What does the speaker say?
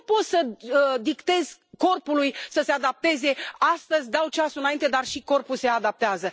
Nu poți să dictezi corpului să se adapteze, astăzi dau ceasul înainte, dar și corpul se adaptează.